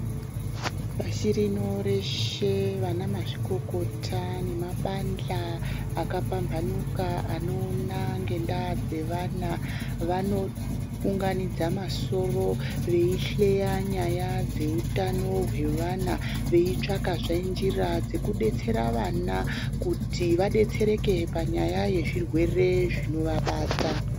Pashi rino reshe vana mazvikokota nemabandla akapambanuka, anoona ngendaa dzevana, vanounganidza masoro, veyihleya nyaya dzeutano hwevana ,veyitsvakezve njira dzekudetsera vana kuti vadetsereke panyaya yezvirwere zvinovabata.